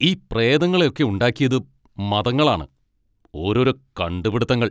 ഈ പ്രേതങ്ങളെ ഒക്കെ ഉണ്ടാക്കിയത് മതങ്ങളാണ്. ഓരോരോ കണ്ടുപിടിത്തങ്ങൾ!